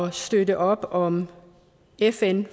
at støtte op om fn